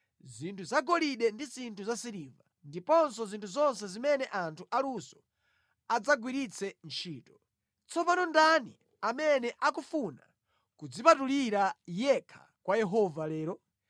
zinthu zagolide ndi zinthu zasiliva, ndiponso zinthu zonse zimene anthu aluso adzagwiritse ntchito. Tsopano ndani amene akufuna kudzipatulira yekha kwa Yehova lero?”